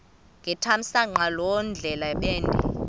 ngethamsanqa loo ndlebende